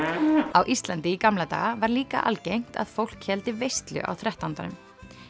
á Íslandi í gamla daga var líka algengt að fólk héldi veislu á þrettándanum